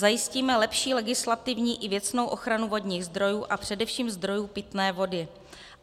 Zajistíme lepší legislativní i věcnou ochranu vodních zdrojů a především zdrojů pitné vody.